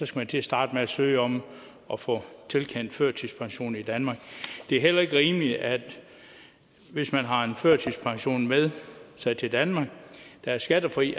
skal til at starte med at søge om at få tilkendt førtidspension i danmark det er heller ikke rimeligt at vi hvis man har en førtidspension med sig til danmark der er skattefri